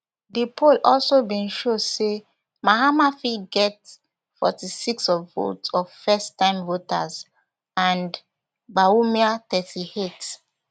di poll also bin show say mahama fit get forty-six of votes of firsttime voters and bawumia thirty-eight